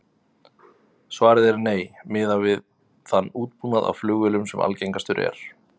Svarið er nei, miðað við þann útbúnað á flugvélum sem algengastur er.